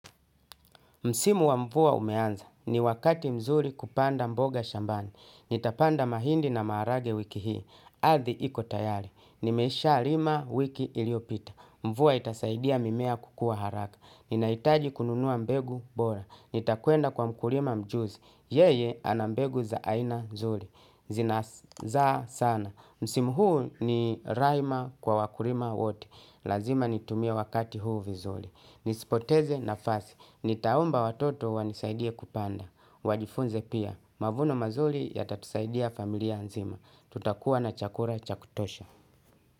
Msimu wa mvua umeanza. Ni wakati mzuri kupanda mboga shambani. Nitapanda mahindi na maharage wiki hii. Ardhi iko tayari. Nimesha lima wiki iliyopita. Mvua itasaidia mimea kukua haraka. Ninahitaji kununua mbegu bora. Nitakwenda kwa mkulima mjuzi. Yeye ana mbegu za aina nzuri. Zina zaa sana. Msimu huu ni raima kwa wakulima wote. Lazima nitumie wakati huu vizuri. Nisipoteze nafasi. Nitaomba watoto wanisaidie kupanda wajifunze pia mavuno mazuri yatatusaidia familia nzima. Tutakuwa na chakula cha kutosha.